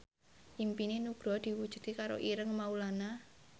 impine Nugroho diwujudke karo Ireng Maulana